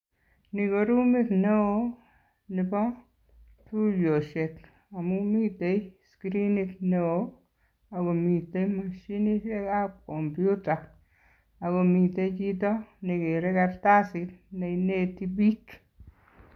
Ni ko rumit neo nebo tuiyosiek amun miten screenit neo ak komiten moshinisiekab kompyuta ago miten chito nekere kartasit neineti biik.